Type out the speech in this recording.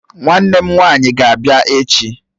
Nwannem nwanyi ga-abia echi